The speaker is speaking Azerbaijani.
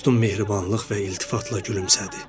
Dostum mehribanlıq və iltifatla gülümsədi.